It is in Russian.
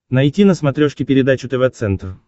найти на смотрешке передачу тв центр